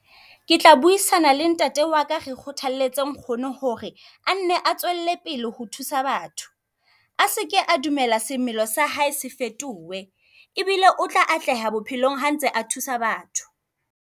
Ke tla buisana le ntate waka re kgothaletse nkgono hore a nne a tswele pele ho thusa batho. A seke a dumela semelo sa hae se fetohe l, ebile o tla atleha bophelong ha ntse a thusa batho.